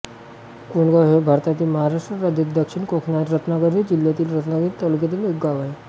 कोंडगाव हे भारतातील महाराष्ट्र राज्यातील दक्षिण कोकणातील रत्नागिरी जिल्ह्यातील रत्नागिरी तालुक्यातील एक गाव आहे